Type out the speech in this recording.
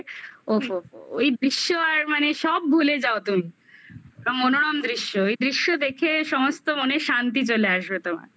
ওহো ওহো ওহো ওই বিশ্ব আর মানে সব ভুলে যাও তুমি এবং মনোরম দৃশ্য এই দৃশ্য দেখে সমস্ত মনের শান্তি চলে আসবে তোমার